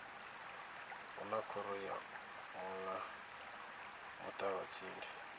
hu na khoro ya muṱavhatsindi